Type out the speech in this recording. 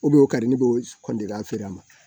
U o kari ni b'o feere a ma